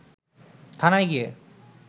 থানায় গিয়ে